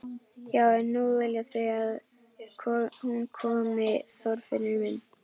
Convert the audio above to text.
Já en nú vilja þau að hún komi, Þorfinnur minn.